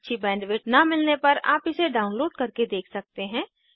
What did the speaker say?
अच्छी बैंडविड्थ न मिलने पर आप इसे डाउनलोड करके देख सकते हैं